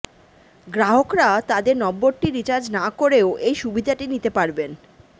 গ্রাহকরা তাদের নম্বরটি রিচার্জ না করেও এই সুবিধাটি নিতে পারবেন